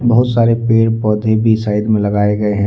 बहुत सारे पेड़ पौधे भी साइड में लगाए गए हैं।